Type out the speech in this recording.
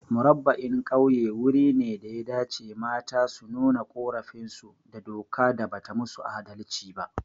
Murabba'in Ƙauye wuri ne daya dace mata su nuna ƙorafin su da doka da bata musu adalci ba